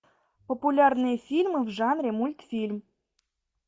популярные фильмы в жанре мультфильм